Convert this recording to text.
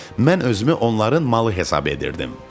Mən özümü onların malı hesab edirdim.